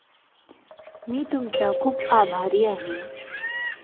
मी तुमचा खूप आभारी आहे